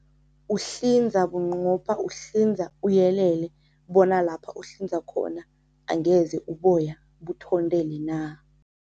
Uhlinza bunqopha, uhlinza uyelele bona lapha uhlinza khona angeze uboya buthondele na.